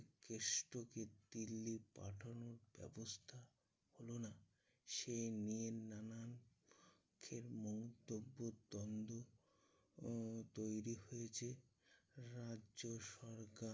কেষ্টকে দিল্লি পাঠানোর ব্যবস্থা হলো না। সেই নিয়ে নানান মন্তব্যর দ্বন্দ্ব উম তৈরী হয়েছে। রাজ্যসরকার